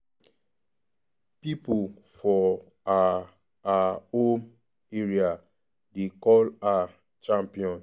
pipo for her her home area dey call her "champion".